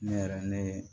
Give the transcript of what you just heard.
Ne yɛrɛ ne